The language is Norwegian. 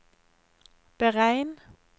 beregn